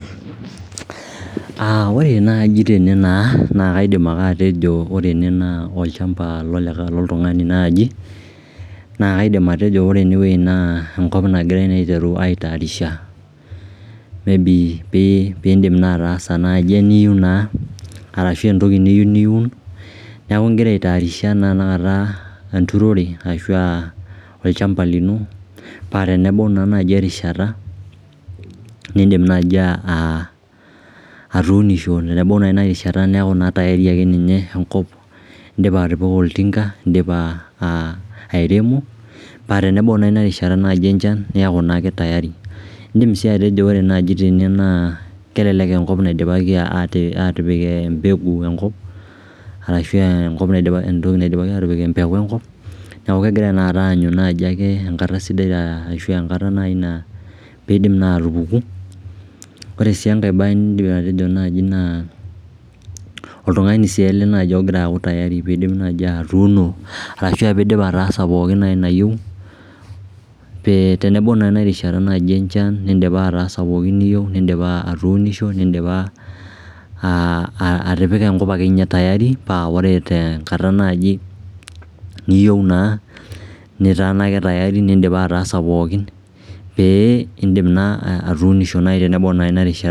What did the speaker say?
Ore naji tene nakaidim ake atejo ore ene naa olchamba lol loltungani naaji naa kaidim atejo enkop nagirai aiteru aitayarisha piidim naai ataaysa eniyieu naa atashu eniyieu niun niaku igira aitayarisha tenakata enthroned ashu olchamba lino pee tenebau naa nai erishata niidim nai aatuunisho tenebau ina rishata neaku naa tayari indipa atipika oltinga, indipa airemo pee tenebau erishata enchan naa ira naaketayari In'dim sii atejo ore nai tene naa kelelek eenkop naidipaki imbegu enkop niaku kegira tenaata aanyu enkata sidai piidim atupuku Ore sii enkae bae niidim atejo naji naa oltungani sii ele naji ogira aaku tayari piidip nai atuuno arashu aa piidip nai atipika nai nayieu pee tenebau erishata enchan nin'dipa ataasa pookin niyieu nindipa atuunisho nin'dipa atipika akeninye enkop tiari paa ore tenkata ake nai neyie naa nin'dipa ataasa pookin pee indip naa atuunisho tenebau naa ina rishata